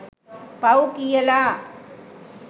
පව් කියලා